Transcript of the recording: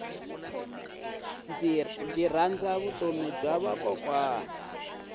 ndzi rhandza vutomi bya vakokwana